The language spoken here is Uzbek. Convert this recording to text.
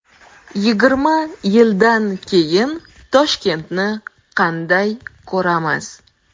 Yigirma yildan keyin Toshkentni qanday ko‘ramiz?